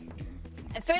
en þau